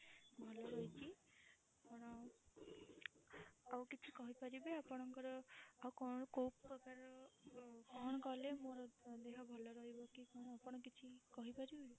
ଭଲ ରହିଛି ଆପଣ ଆଉ କିଛି କହି ପାରିବେ ଆପଣଙ୍କର ଆଉ କଣ କୋଉ ପ୍ରକାର ର କଣ କଲେ ମୋର ଦେହ ଭଲ ରହିବ କି କଣ ଆପଣ କିଛି କହି ପାରିବେ?